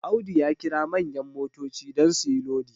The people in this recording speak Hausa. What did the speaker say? Audu ya kira manyan motoci don su yi Lodi